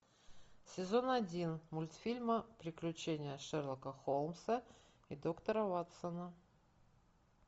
сезон один мультфильма приключения шерлока холмса и доктора ватсона